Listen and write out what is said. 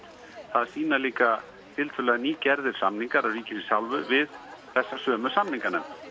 það sýna líka tiltölulega nýgerðir samningar af ríkisins hálfu við þessa sömu samninganefnd